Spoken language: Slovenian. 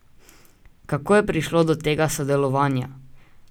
Kako je prišlo do tega sodelovanja?